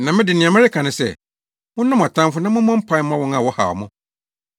Na me de, nea mereka ne sɛ: monnɔ mo atamfo na mommɔ mpae mma wɔn a wɔhaw mo.